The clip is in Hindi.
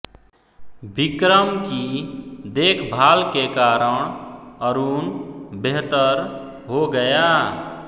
विक्रम की देखभाल के कारण अरुण बेहतर हो गया